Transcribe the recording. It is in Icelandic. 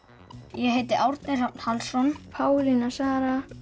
ég heiti Árni Hrafn Hallsson Pálína Sara